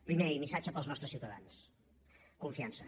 primer i missatge per als nostres ciutadans confiança